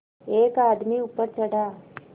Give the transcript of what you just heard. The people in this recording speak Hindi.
एक आदमी ऊपर चढ़ा